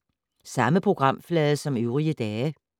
Samme programflade som øvrige dage